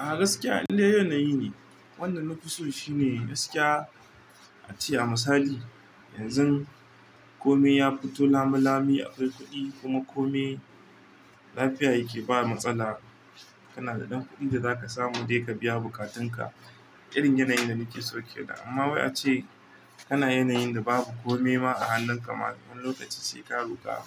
A gaskiya in dai yanayi ne, wanda na fi so shine gaskiya. A ce a misali yanzu komai ya fito lamilami akwai kuɗi kuma komai lafiya yake ba matsala. Kana da ɗan kuɗin da za ka samu dai ka biya bukatun ka, irin yanayin da nake son kenan amma wai ace kana yanayin da babu komai ma a hannun ka ma wani lokaci sai ka roƙa.